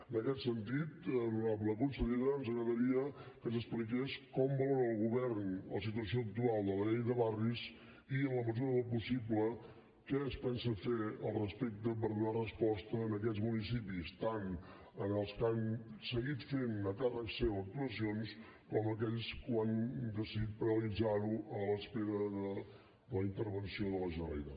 en aquest sentit honorable consellera ens agradaria que ens expliqués com valora el govern la situació actual de la llei de barris i en la mesura del possible què es pensa fer al respecte per donar resposta a aquests municipis tant als que han seguit fent a càrrec seu actuacions com aquells que han decidit paralitzarho a l’espera de la intervenció de la generalitat